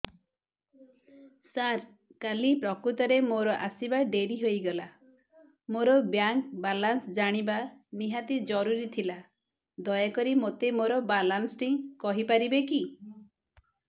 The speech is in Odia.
ସାର କାଲି ପ୍ରକୃତରେ ମୋର ଆସିବା ଡେରି ହେଇଗଲା ମୋର ବ୍ୟାଙ୍କ ବାଲାନ୍ସ ଜାଣିବା ନିହାତି ଜରୁରୀ ଥିଲା ଦୟାକରି ମୋତେ ମୋର ବାଲାନ୍ସ ଟି କହିପାରିବେକି